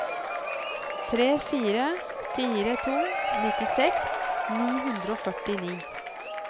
tre fire fire to nittiseks ni hundre og førtini